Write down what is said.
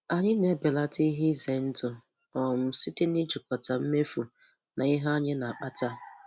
Anyị na-ebelata ihe ize ndụ um site n'ijikọta mmefu na ihe anyị na-akpata.